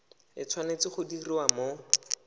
e tshwanetse go diriwa mo